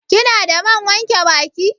Kina da man wanke baki?